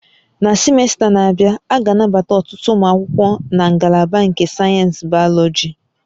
Na simesta na-abịa, a ga-anabata ọtụtụ ụmụ akwụkwọ na ngalaba nke sayensị Bayọlọji